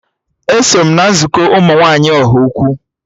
Eso m na nzukọ ụmụ nwaanyị Ọhaukwu